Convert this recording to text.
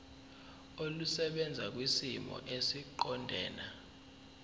olusebenza kwisimo esiqondena